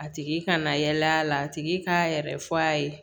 A tigi kana yala yala a tigi k'a yɛrɛ fɔ a ye